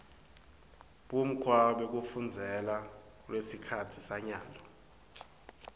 bumgkwa bekufunzela kulesikhatsi sanyalo